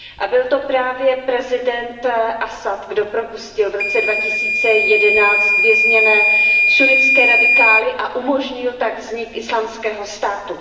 Byl to právě prezident Asad, kdo propustil v roce 2011 vězněné sunnitské radikály a umožnil tak vznik Islámského státu.